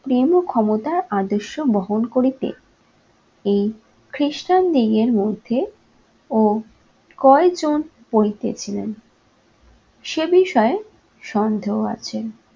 ক্ষমতা আদর্শ বহন করিতে এই খ্রিস্টানদিগের মধ্যে ও কয়েকজন পৌঁছে ছিলেন সে বিষয়ে সন্দেহ আছে।